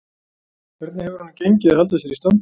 Hvernig hefur honum gengið að halda sér í standi?